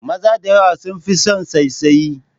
Maza da yawa sun fi san saisaye